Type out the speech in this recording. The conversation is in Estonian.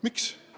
Miks?